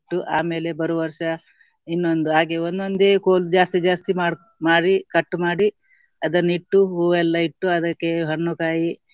ಆಮೇಲೆ ಬರುವ ವರ್ಷ ಇನ್ನೊಂದು ಹಾಗೆ ಒಂದೊಂದೇ ಕೋಲ್ ಜಾಸ್ತಿ ಜಾಸ್ತಿ ಮಾಡಕೊ~ ಮಾಡಿ cut ಮಾಡಿ ಅದನ್ನಿಟ್ಟು ಹೂವು ಎಲ್ಲ ಇಟ್ಟು ಅದಕ್ಕೆ ಹಣ್ಣು ಕಾಯಿ